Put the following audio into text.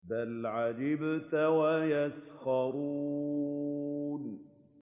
بَلْ عَجِبْتَ وَيَسْخَرُونَ